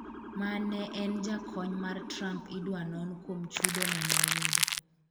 ma ne en jakony mar Trump idwa non kuom chudo mane oyudo